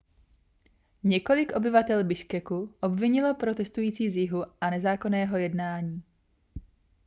několik obyvatel biškeku obvinilo protestující z jihu z nezákonného jednání